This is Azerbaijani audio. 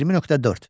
20.4.